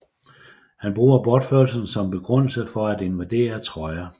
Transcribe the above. Han bruger bortførelsen som begrundelse for at invadere Troja